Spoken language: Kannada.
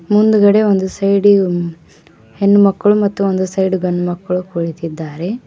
ಮುಂದ್ಗಡೆ ಒಂದು ಸೈಡಿಗೆ ಹೆಣ್ಮಕ್ಳು ಮತ್ತು ಒಂದು ಸೈಡು ಗಂಡ್ಮಕ್ಳು ಕುಳಿತಿದ್ದಾರೆ.